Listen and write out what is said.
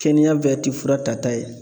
Kɛnɛya bɛɛ ti fura tata ye.